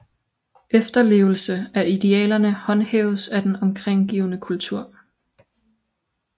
Efterlevelse af idealerne håndhæves af den omgivende kultur